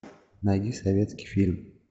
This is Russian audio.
найди советский фильм